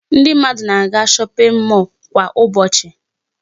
Ndị mmadụ na-aga shopping mall kwa ụbọchị.